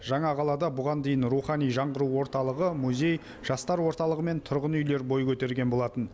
жаңа қалада бұған дейін рухани жаңғыру орталығы музей жастар орталығы мен тұрғын үйлер бой көтерген болатын